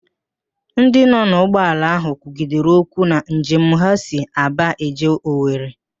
Ndị nọ n'ụgbọala ahụ kwugidere okwu na njem ha si Aba eje Owere